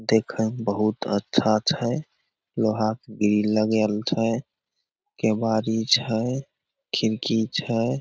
देखय मे बहुत अच्छा छै लोहा के ग्रिल लगाएल छै केवारी छै खिड़की छै।